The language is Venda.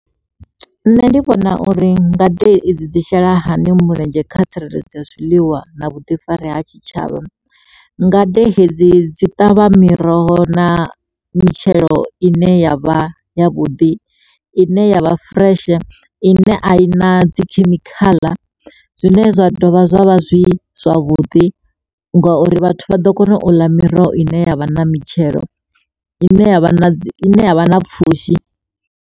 Nṋe ndi vhona uri ngade idzi shela hani mulenzhe kha tsireledzo ya zwiḽiwa na vhuḓifari ha tshitshavha. Ngade hedzi dzi ṱavha miroho na mitshelo ine yavha ya vhuḓi ine yavha fureshe, ine a i na dzikhemikhala zwine zwa dovha zwavha zwi zwavhuḓi ngauri vhathu vha ḓo kona u ḽa miroho i ne ya vha na mitshelo ine ya vha ya vha na pfhushi.